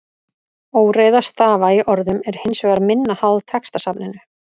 Óreiða stafa í orðum er hins vegar minna háð textasafninu.